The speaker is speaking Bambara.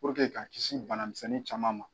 Puruke ka kisi banamisɛnnin caman ma.